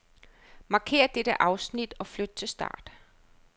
Markér dette afsnit og flyt til start.